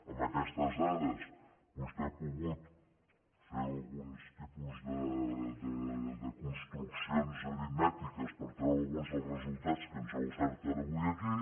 amb aquestes dades vostè ha pogut fer alguns tipus de construccions aritmètiques per treure alguns dels resultats que ens ha ofert ara avui aquí